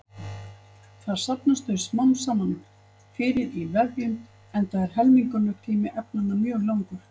Þar safnast þau smám saman fyrir í vefjum enda er helmingunartími efnanna mjög langur.